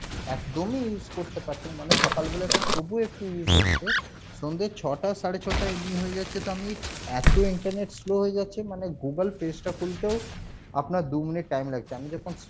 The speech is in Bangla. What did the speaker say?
একদমই use করতে পারছিনা মানে সকালবেলা টা তবুও একটু use হচ্ছে সন্ধে ছ'টা সাড়ে ছ'টা এমনি হয়ে যাচ্ছে তো আমি এত internet slow হয়ে যাচ্ছে মানে Google page টা খুলতেও আপনার দু minute time লাগছে আমি যখন